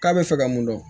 K'a bɛ fɛ ka mun dɔn